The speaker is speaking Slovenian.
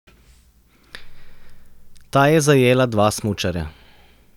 Ta je zajela dva smučarja.